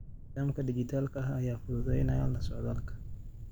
Nidaamka dhijitaalka ah ayaa fududeynaya la socodka.